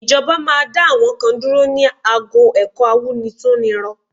Ìjọba máa dá àwọn kan dúró ní ago ẹ̀kọ́ awúrintúnrinrọ